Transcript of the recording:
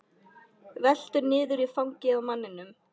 Veltur niður í fangið á manninum.